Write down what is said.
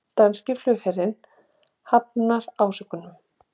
Danski flugherinn hafnar ásökunum